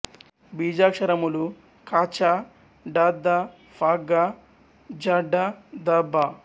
బీజాక్షరములు ఖ ఛ ఠ ధ ఫ ఘ ఝ ఢ ధ భ